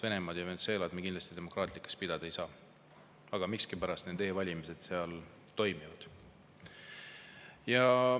Venemaad ja Venezuelat me kindlasti demokraatlikuks pidada ei saa, aga miskipärast e-valimised seal toimuvad.